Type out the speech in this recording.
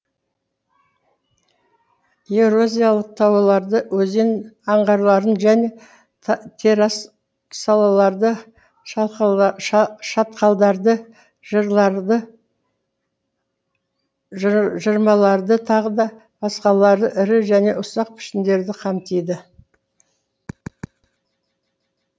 ерозиялық тауларды өзен аңғарларын және террасаларды шатқалдарды жырларды жырмаларды тағы да басқалары ірі және ұсақ пішіндерді қамтиды